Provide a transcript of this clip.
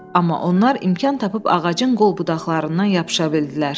Amma onlar imkan tapıb ağacın qolbudaqlarından yapışa bildilər.